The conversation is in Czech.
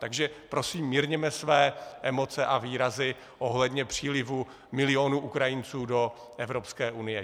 Takže prosím mírněme své emoce a výrazy ohledně přílivu milionů Ukrajinců do Evropské unie.